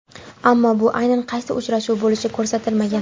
Ammo bu aynan qaysi uchrashuv bo‘lishi ko‘rsatilmagan.